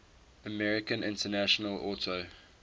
american international auto